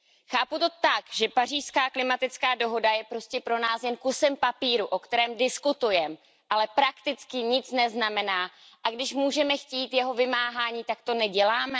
Chápu to tak, že Pařížská klimatická dohoda je prostě pro nás jen kusem papíru, o kterém diskutujeme, ale prakticky nic neznamená, a když můžeme chtít jeho vymáhání, tak to neděláme?